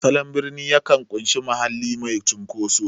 Salon birni yakan ƙunshi mahalli mai cunkoso.